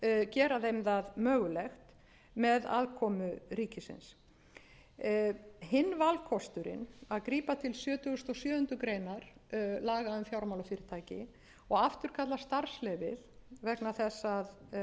gera þeim það mögulegt með aðkomu ríkisins hinn valkosturinn að grípa til sjötugasta og sjöundu grein laga um fjármálafyrirtæki og afturkalla starfsleyfi vegna þess að eigið fé